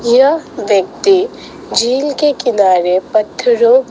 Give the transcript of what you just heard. यह व्यक्ति झील के किनारे पत्थरों--